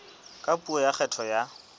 ka puo ya kgetho ya